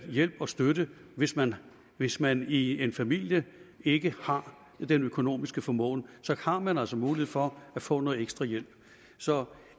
hjælp og støtte hvis man hvis man i en familie ikke har den økonomiske formåen så har man altså mulighed for at få noget ekstra hjælp så